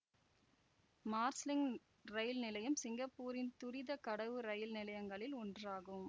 Marsiling ரயில் நிலையம் சிங்கப்பூரின் துரித கடவு ரயில் நிலையங்களில் ஒன்றாகும்